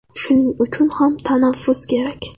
Shuning uchun ham tanaffus kerak.